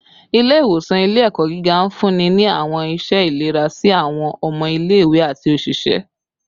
Ile-iwosan ile-ẹkọ giga nfunni ni awọn iṣẹ ilera si awọn ọmọ ile-iwe ati oṣiṣẹ